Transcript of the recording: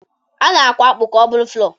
A na-akwọ akpụ ka ọ bụrụ fụlọr.